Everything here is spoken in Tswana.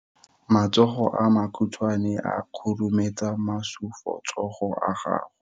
Matsogo a makhutshwane a khurumetsa masufutsogo a gago.